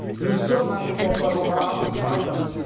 Nous sommes à un moment favorable grâce à M.